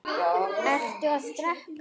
Ertu að drekka?